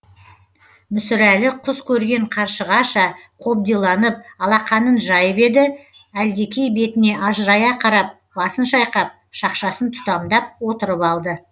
мүсірәлі құс көрген қаршығаша қобдиланып алақанын жайып еді әлдекей бетіне ажырая қарап басын шайқап шақшасын тұтамдап отырып алды